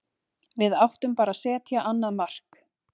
Við áttum bara að setja annað mark.